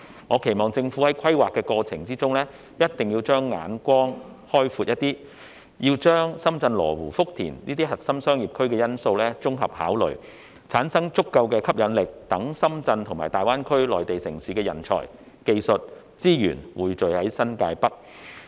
我期望政府在規劃過程中，將眼光開闊一點，就深圳羅湖、福田等核心商業區的因素作綜合考慮，產生足夠的吸引力，讓深圳和粵港澳大灣區內地城市的人才、技術和資源在新界北匯聚。